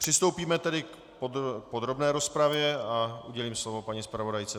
Přistoupíme tedy k podrobné rozpravě a udělím slovo paní zpravodajce.